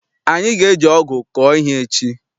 Anyị ga eji ọgụ kọọ ihe echi.